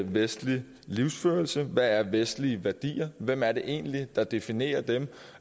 vestlig livsførelse hvad er vestlige værdier hvem er det egentlig der definerer dem